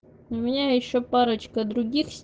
у меня ещё парочка других